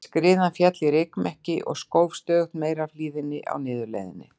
Skriðan féll í rykmekki og skóf stöðugt meira af hlíðinni á niðurleiðinni.